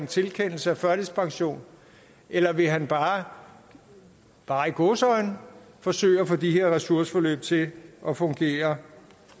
tilkendelse af førtidspension eller vil han bare bare i gåseøjne forsøge at få de her ressourceforløb til at fungere